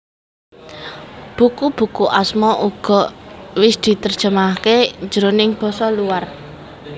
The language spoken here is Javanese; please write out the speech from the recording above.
Buku buku Asma uga wis diterjemahke jroning basa luar